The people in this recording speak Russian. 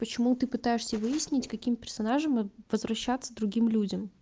почему ты пытаешься выяснить каким персонажем возвращаться другим людям